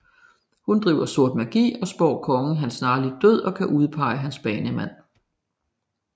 Hun driver sort magi og spår kongen hans snarlige død og kan udpege hans banemand